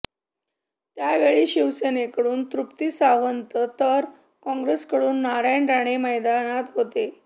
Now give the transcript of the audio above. त्यावेळी शिवसेनेकडून तृप्ती सावंत तर काँग्रेसकडून नारायण राणे मैदानात होते